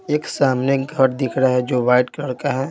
एक सामने घर दिख रहा है जो वाइट कलर का है।